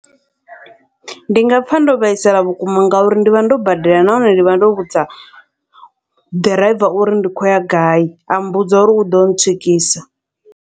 Ndi nga pfha ndo vhaisala vhukuma, ngauri ndivha ndo badela nahone ndivha ndo vhudza ḓiraiva uri ndi khou ya gai, a mmbudza uri uḓo ntswikisa.